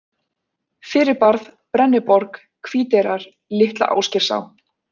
Fyrirbarð, Brenniborg, Hvíteyrar, Litla-Ásgeirsá